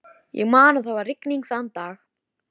Það er á stærð við íbúðina þeirra.